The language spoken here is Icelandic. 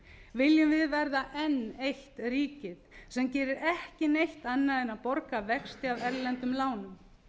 viljum við verða enn eitt ríkið sem gerir ekki neitt annað en að borga vexti af erlendum lánum